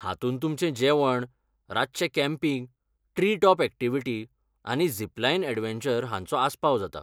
हातूंत तुमचें जेवण, रातचें कॅम्पिंग, ट्री टॉप अॅक्टिव्हिटी, आनी जिप लायन एडवेंचर हांचो आस्पाव जाता.